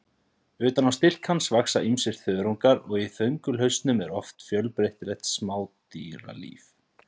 Utan á stilk hans vaxa ýmsir þörungar og í þöngulhausnum er oft fjölbreytilegt smádýralíf.